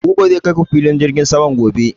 Buba zai kai ku filin jirgin saman gobe